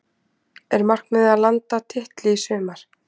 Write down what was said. Er markmiðið að landa titli í sumar?